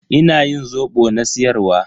Ina yin zobo na siyar wa.